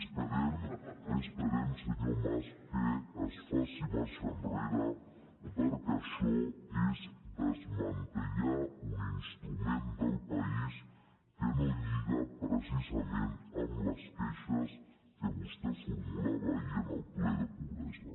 esperem senyor mas que es faci marxa enrere perquè això és desmantellar un instrument del país que no lliga precisament amb les queixes que vostè formulava ahir en el ple de pobresa